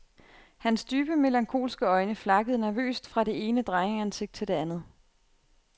Hans dybe, melankolske øjne flakkede nervøst fra det ene drengeansigt til det andet.